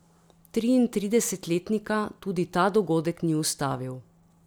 Triintridesetletnika tudi ta dogodek ni ustavil.